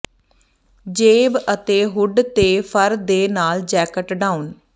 ਜੇਬ ਅਤੇ ਹੁੱਡ ਤੇ ਫਰ ਦੇ ਨਾਲ ਜੈਕਟ ਡਾਊਨ